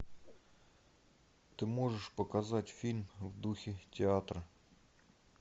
ты можешь показать фильм в духе театра